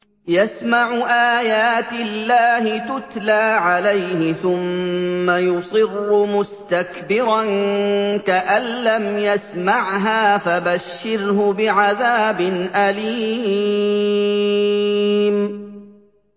يَسْمَعُ آيَاتِ اللَّهِ تُتْلَىٰ عَلَيْهِ ثُمَّ يُصِرُّ مُسْتَكْبِرًا كَأَن لَّمْ يَسْمَعْهَا ۖ فَبَشِّرْهُ بِعَذَابٍ أَلِيمٍ